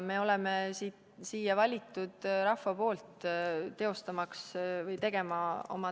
Me oleme siia valitud rahva poolt oma tööd tegema.